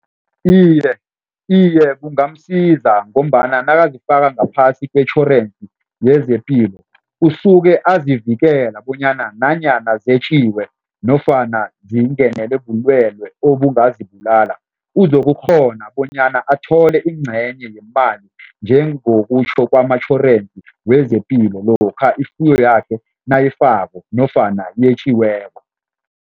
Iye. Iye, kungamsiza ngombana nazifaka ngaphasi kwetjhorensi yezepilo usuke azivikele bonyana nanyana zetjiwe nofana zingenelwe bulwele obungazibulala, uzokukghona bonyana athole ingcenye yemali njengokutjho kwamatjhorensi wezepilo lokha ifuyo yakhe nayifako nofana yetjiweko.